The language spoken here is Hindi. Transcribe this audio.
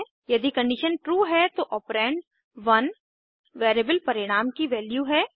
यदि कंडीशन ट्रू है तो ऑपरेंड 1 वैरिएबल परिणाम की वैल्यू है